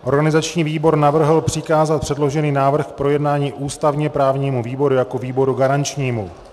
Organizační výbor navrhl přikázat předložený návrh k projednání ústavně právnímu výboru jako výboru garančnímu.